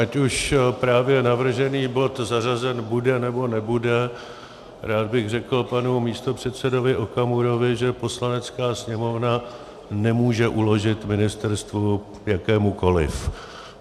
Ať už právě navržený bod zařazen bude, nebo nebude, rád bych řekl panu místopředsedovi Okamurovi, že Poslanecká sněmovna nemůže uložit ministerstvu, jakémukoliv.